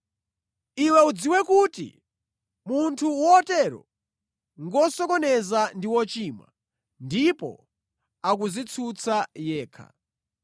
Iwe udziwe kuti munthu wotero ngosokoneza ndi wochimwa, ndipo akudzitsutsa yekha.